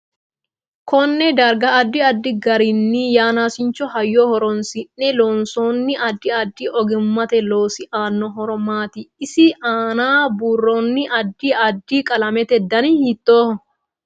Konne darga addi addi garinni yanaasicho hayyo horoonsine loonsooni addi addi oggimate loosi aano horo maati isi aana buurooni adi addi qalamete dani hiitooho